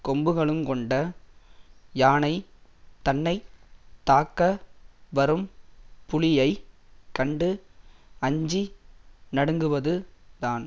கொம்புகளுங்கொண்ட யானை தன்னை தாக்க வரும் புலியைக் கண்டு அஞ்சி நடுங்குவது தான்